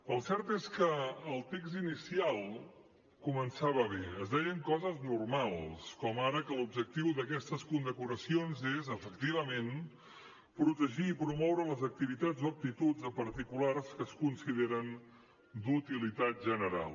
el cert és que el text inicial començava bé es deien coses normals com ara que l’objectiu d’aquestes condecoracions és efectivament protegir i promoure les activitats o actituds de particulars que es consideren d’utilitat general